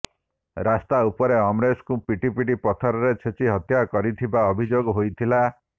ରାସ୍ତା ଉପରେ ଅମରେଶଙ୍କୁ ପିଟିପିଟି ପଥରରେ ଛେଚି ହତ୍ୟା କରିଥିବା ଅଭିଯୋଗ ହୋଇଥିଲା